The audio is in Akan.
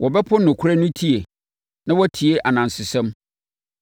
Wɔbɛpo nokorɛ no tie, na wɔatie anansesɛm.